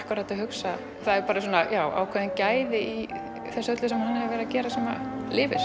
hugsa það eru ákveðin gæði í því sem hann var að gera sem lifir